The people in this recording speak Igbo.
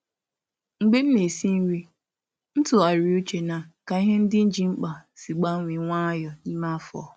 Mgbe m na-esi nri, m tụgharịrị uche na ka ihe ndị m ji mkpa si gbanwee nwayọọ n’ime afọ.